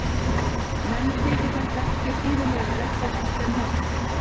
Og henni þyki þetta ekki síður leiðinlegt og vont en honum.